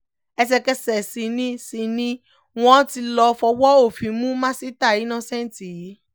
ẹsẹ̀kẹsẹ̀ sì ni sì ni wọ́n ti lọ́ọ́ fọwọ́ òfin mú masita innocent yìí